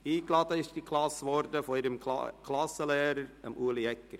Eingeladen wurde die Klasse von ihrem Klassenlehrer, Ueli Egger.